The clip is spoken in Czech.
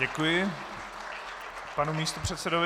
Děkuji panu místopředsedovi.